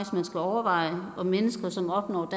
man skal overveje om mennesker som opnår